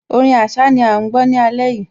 Orin Àṣá ni à ń gbọ́ ní alẹ́ yìí